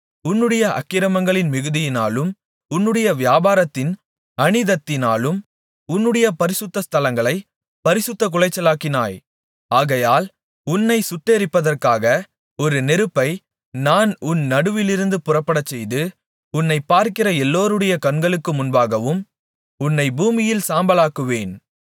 உன்னுடைய அக்கிரமங்களின் மிகுதியினாலும் உன்னுடைய வியாபாரத்தின் அநீதத்தினாலும் உன்னுடைய பரிசுத்த ஸ்தலங்களைப் பரிசுத்தக்குலைச்சலாக்கினாய் ஆகையால் உன்னைச் சுட்டெரிப்பதற்காக ஒரு நெருப்பை நான் உன் நடுவிலிருந்து புறப்படச்செய்து உன்னைப்பார்க்கிற எல்லாருடைய கண்களுக்கு முன்பாகவும் உன்னைப் பூமியின்மேல் சாம்பலாக்குவேன்